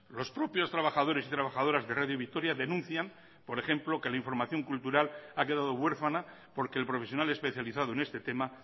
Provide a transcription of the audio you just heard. los propios trabajadores y trabajadoras de radio vitoria denuncian por ejemplo que la información cultural ha quedado huérfana porque el profesional especializado en este tema